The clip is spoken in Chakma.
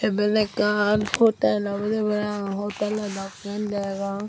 iben ekkan hotel obwdey paraang hotelo dokkey degong.